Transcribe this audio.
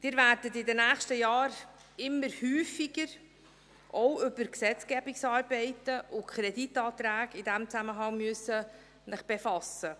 Sie werden sich in den nächsten Jahren immer häufiger auch über Gesetzgebungsarbeiten und Kreditanträge in diesem Zusammenhang befassen müssen.